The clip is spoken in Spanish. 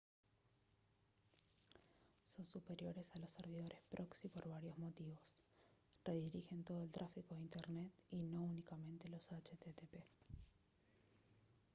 son superiores a los servidores proxy por varios motivos redirigen todo el tráfico de internet y no únicamente los http